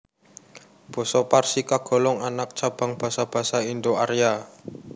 Basa Parsi kagolong anak cabang basa basa Indo Arya